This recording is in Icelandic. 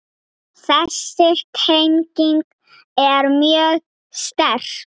Þessi tenging er mjög sterk.